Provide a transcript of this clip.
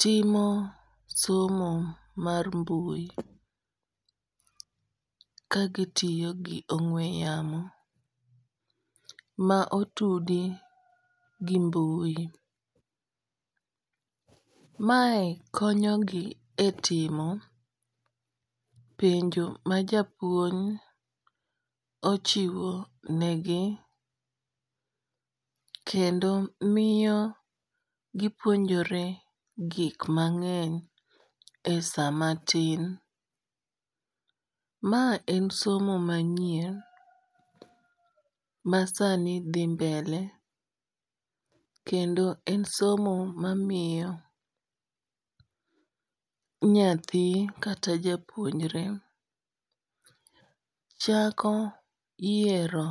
timo somo mar mbui ka gitiyo gi ong'we yamo ma otudi gi mbui. Mae konyogi e timo penjo ma japuony ochiwo negi, kendo miyo gipuonjore gik mang'eny e sama tin. Ma en somo manyien ma sani dhi mbele, kendo en somo ma miyo nyathi kata japuonjre chako yiero